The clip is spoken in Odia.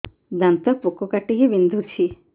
ଦାନ୍ତ ପୋକ କାଟିକି ବିନ୍ଧୁଛି